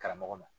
Karamɔgɔ ma